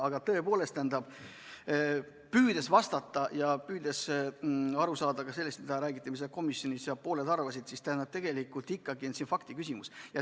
Aga tõepoolest, püüdes vastata ja püüdes ka aru saada sellest, mida räägiti komisjonis ja mida seal pooled arvasid, siis tegelikult on see ikkagi faktiküsimus.